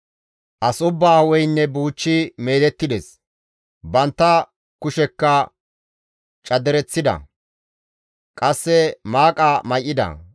As ubbaa hu7eynne buuchchi meedettides; bantta kushekka cadereththida; qasse maaqa may7ida.